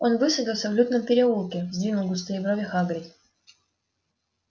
он высадился в лютном переулке сдвинул густые брови хагрид